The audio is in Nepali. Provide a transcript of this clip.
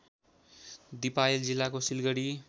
दिपायल जिल्लाको सिलगडी